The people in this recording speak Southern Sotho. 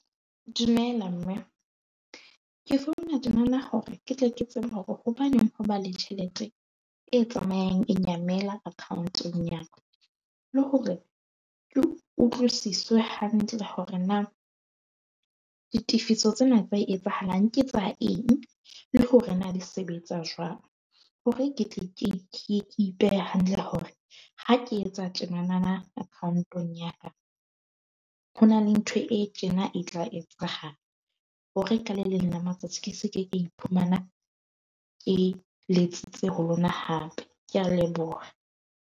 Dumela mme ke founa tjena na hore ke tle ke tseba hore hobaneng ho ba le tjhelete e tsamayang e nyamela account-ong ya ka, le hore ke utlwisiswe hantle hore na ditefiso tsena tse etsahalang. Ke tsa eng le hore na di sebetsa jwang hore ke tle ke ipehe hantle hore ha ke etsa tjena na na account-ong ya ka. Ho na le ntho e tjena na e tla etsahala hore ke se ke ka iphumana ke letsitse ho lona hape. Ke a leboha.